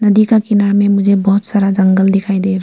नदी का किनारा में मुझे बहुत सारा जंगल दिखाई दे रहा--